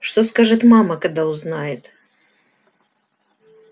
что скажет мама когда узнает